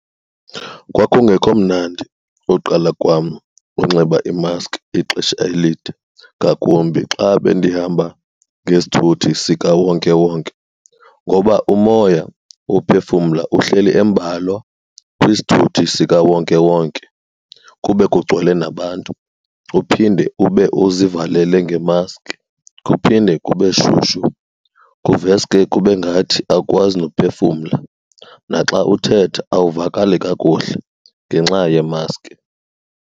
Kwakungekho mnandi uqala kwam unxiba imaskhi ixesha elide, ngakumbi xa bendihamba ngesithuthi sikawonkewonke. Ngoba umoya wophefumla uhleli embalwa kwisithuthi sikawonkewonke kube kugcwele nabantu uphinde ube uzivalele ngemaskhi, kuphinde kube shushu kuveske kube ngathi awukwazi nophefumla, naxa uthetha awuvakali kakuhle ngenxa yemaskhi.